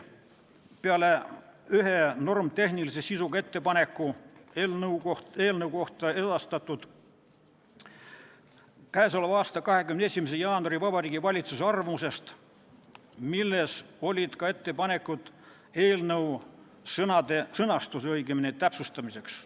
Peale ühe normitehnilise sisuga ettepaneku tulenesid need eelnõu kohta edastatud Vabariigi Valitsuse k.a 21. jaanuari arvamusest, milles olid ka ettepanekud eelnõu sõnastuse täpsustamiseks.